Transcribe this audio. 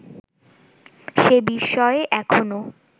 সে বিষয়ে এখনও